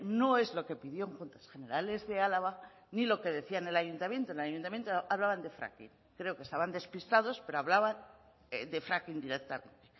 no es lo que pidió en juntas generales de álava ni lo que decía en el ayuntamiento en el ayuntamiento hablaban de fracking creo que estaban despistados pero hablaban de fracking directamente